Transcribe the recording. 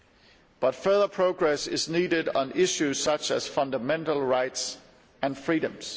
However, further progress is needed on issues such as fundamental rights and freedoms.